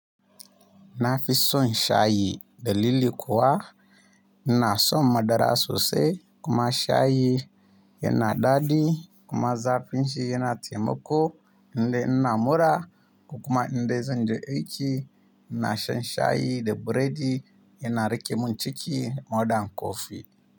Na fi son shayi da lili kuwa. Ina son madara sosai kuma shayi yana daɗi kuma zafin shi yana taimako. Indai ina mura kuma indai zan je aiki. Ina shan shayi da buredi. Yana riƙe min ciki maɗan kofi.